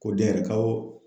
Ko den yɛrɛ ka b'o